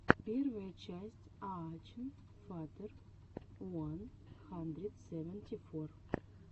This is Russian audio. первая часть аачен фатер уан хандрид севенти фор